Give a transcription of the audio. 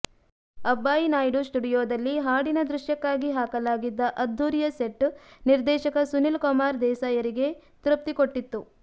ಅಬ್ಬಾಯಿನಾಯ್ಡು ಸ್ಟುಡಿಯೋದಲ್ಲಿ ಹಾಡಿನ ದೃಶ್ಯಕ್ಕಾಗಿ ಹಾಕಲಾಗಿದ್ದ ಅದ್ಧೂರಿಯ ಸೆಟ್ ನಿರ್ದೇಶಕ ಸುನಿಲ್ಕುಮಾರ್ ದೇಸಾಯರಿಗೆ ತೃಪ್ತಿ ಕೊಟ್ಟಿತ್ತು